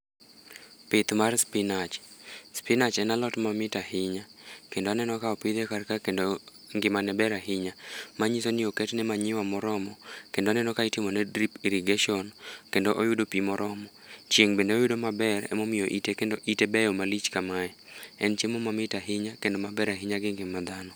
Pith mar spinach, spinach en alot mamit ahinya. Kendo aneno ka opidhe karka kendo ngimane ber ahinya. Manyiso ni oketne manyiwa moromo ,kendo aneno ka itimone drip irrigation kendo oyudo pi moromo. Chieng' bende oyudo maber emomiyo ite kendo ite beyo malich kamae. En chiemo mamit ahinya kendo maber ahinya gi ngima dhano.